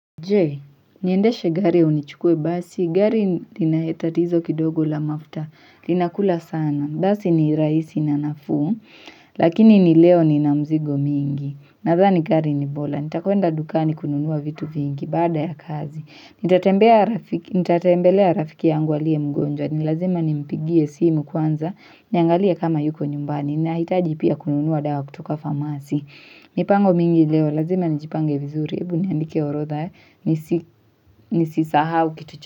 Je, niendeshe gari au nichukue basi, gari linatatizo kidogo la mafta, linakula sana, basi ni raisi na nafuu, Lakini ni leo nina mzigo mingi, nadhani gari ni bola, nitakwenda dukani kununua vitu vingi, baada ya kazi, nitatembelea rafiki yangu aliye mgonjwa, nilazima ni mpigie simu kwanza, niangalie kama yuko nyumbani, nahitaji pia kununua dawa kutoka famasi, mipango mingi leo, lazima nijipange ya vizuri, ebu niandike orotha, nisisahau kitucho.